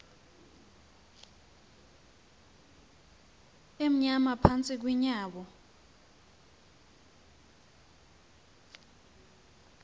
amnyama phantsi kweenyawo